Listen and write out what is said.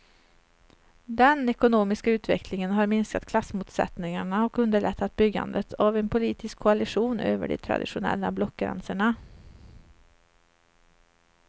Den ekonomiska utvecklingen har minskat klassmotsättningarna och underlättat byggandet av en politisk koalition över de traditionella blockgränserna.